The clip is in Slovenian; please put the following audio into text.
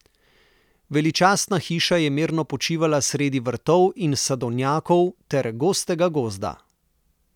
Veličastna hiša je mirno počivala sredi vrtov in sadovnjakov ter gostega gozda.